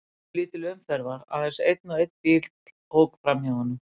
Mjög lítil umferð var, aðeins einn og einn bíll ók fram hjá honum.